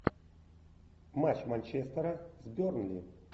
матч манчестера с бернли